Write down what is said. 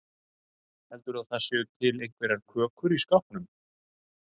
Heldurðu að það séu til einhverjar kökur í skápnum?